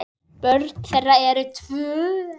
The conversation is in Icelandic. Börn þeirra eru tvö.